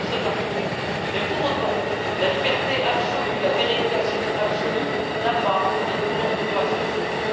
J'entends cet argument, mais pour autant, la liberté absolue, la dérégulation absolue, n'a pas et ne porte pas ses fruits.